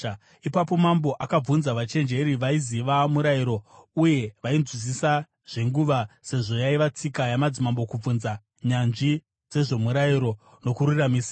Ipapo mambo akabvunza vachenjeri vaiziva murayiro uye vainzwisisa zvenguva sezvo yaiva tsika yamadzimambo kubvunza nyanzvi dzezvomurayiro nokururamisira,